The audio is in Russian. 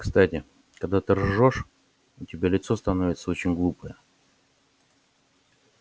кстати когда ты ржёшь у тебя лицо становится очень глупое